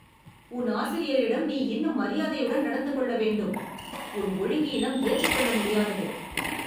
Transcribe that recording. உன் ஆசிரியரிடம் நீ இன்னும் மரியாதையுடன் நடந்து கொள்ள வேண்டும். உன் ஒழுங்கீனம் ஏற்றுக்கொள்ள முடியாதது